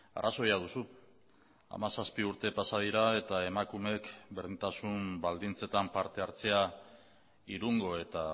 arrazoia duzu hamazazpi urte pasa dira eta emakumeek berdintasun baldintzetan parte hartzea irungo eta